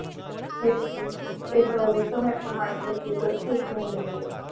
એ તો હવે સમય પ્રમાણે નક્કી કરશો શું લેવું એ.